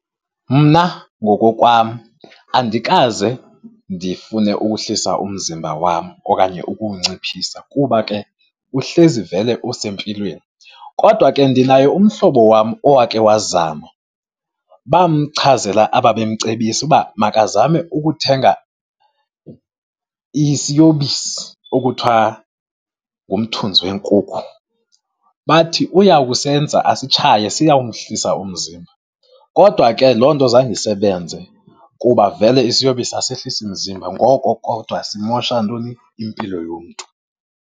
Mna ngokokwam, andikaze ndifune ukuhlisa umzimba wam okanye ukuwunciphisa kuba ke uhlezi vele usempilweni. Kodwa ke ndinaye umhlobo wam owake wazama. Bamchazela ababemcebisa ukuba makazame ukuthenga isiyobisi okuthiwa ngumthunzi weenkukhu. Bathi uya kusenza asitshaye, siyawumhlisa umzimba. Kodwa ke loo nto zange isebenze kuba vele isiyobisi asehlisi mzimba. Ngoko kwakuthiwa simosha ntoni? Impilo yomntu.